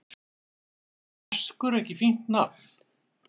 Finnst þér Vaskur ekki fínt nafn?